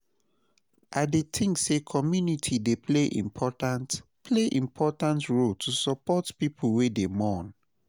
I dey think say community dey play important play important role to support people wey dey mourn.